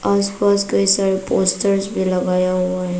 आसपास कई सारे पोस्टर्स भी लगाया हुआ हैं।